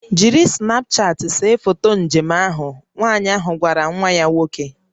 "Jiri Snapchat see foto njem njem ahụ" Nwanyị ahụ gwara nwa ya nwoke"